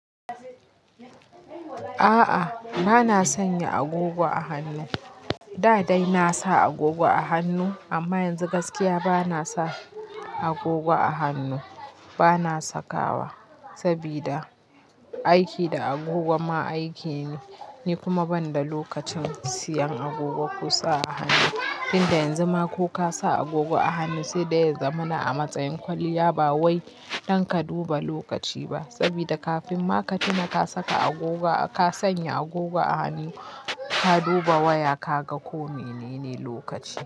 A'a bana sanya agogo a hannu. Da dai na sa agogo a hannu amma yanzu gaskiya bana sa agogo a hannu. Bana sakawa sabida aiki da agogo ma aiki ne. Ni kuma ban da lokacin siyan agogo ko sa a hannu. Inda yanzu ma ko ka sa agogo a hannu sai da ya zamana a matsayin kwalliya ba wai don ka duba lokaci ba. Sabida kafin ma ka tuna ka saka agogo, ka sanya agogo a hannu, ka duba waya ka ga ko menene lokaci.